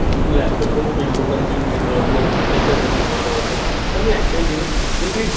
তুই Laptop প্রথম Video Consume করতে পারবি ওর প্রত্যেকটা জিনিস ভালো আছে তাহলে তুই একটাই জিনিস যে